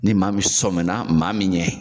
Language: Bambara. Ni maa min sɔnmi na maa min ɲɛ.